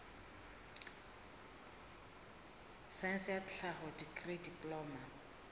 saense ya tlhaho dikri diploma